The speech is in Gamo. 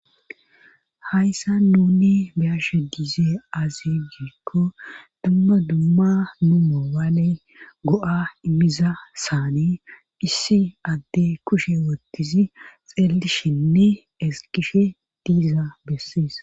hayssa nuni bayashe diizee azi giikko dumma dumma numo waaley go7a immiza saani issi adde kushe wottizi xeellishinne eskishe diiza bessees